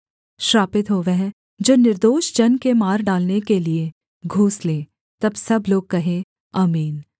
श्रापित हो वह जो निर्दोष जन के मार डालने के लिये घुस ले तब सब लोग कहें आमीन